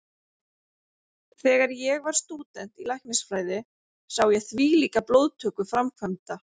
Þegar ég var stúdent í læknisfræði sá ég þvílíka blóðtöku framkvæmda.